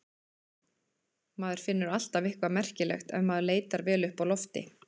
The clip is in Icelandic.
Maður finnur alltaf eitthvað merkilegt ef maður leitar vel uppi á lofti.